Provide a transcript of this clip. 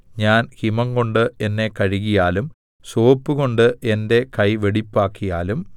ഞാൻ ഹിമംകൊണ്ട് എന്നെ കഴുകിയാലും സോപ്പുകൊണ്ട് എന്റെ കൈ വെടിപ്പാക്കിയാലും